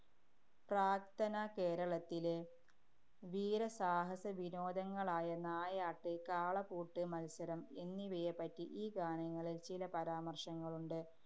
പ്രാക്തനകേരളത്തിലെ വീരസാഹസവിനോദങ്ങളായ നായാട്ട്, കാളപൂട്ട് മത്സരം എന്നിവയെപ്പറ്റി ഈ ഗാനങ്ങളില്‍ ചില പരാമര്‍ശങ്ങളുണ്ട്.